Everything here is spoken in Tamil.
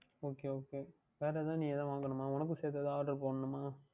Okay Okay வேறு எதாவுது நீ வாங்கவேண்டுமா உனக்கும் சேர்த்து எதாவுது Oder போடவேண்டுமா